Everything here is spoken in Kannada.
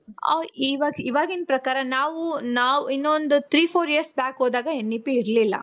ಇವಾಗಿನ್ ಪ್ರಕಾರ ನಾವು ಇನ್ನು ಒಂದು three four years back ಹೋದಾಗ N E P ಇರ್ಲಿಲ್ಲ.